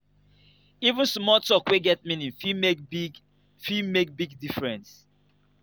even small tok wey get meaning fit make big fit make big difference.